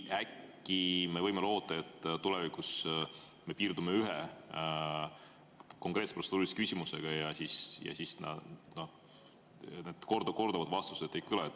Äkki me võime loota, et tulevikus me piirdume ühe konkreetse protseduurilise küsimusega, ja siis need korduvad vastused ei kõla?